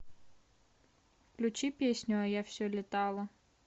включи песню а я все летала